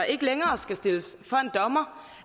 ikke længere skal stilles for en dommer